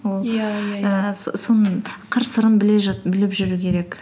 ол иә иә иә ііі соның қыр сырын біліп жүру керек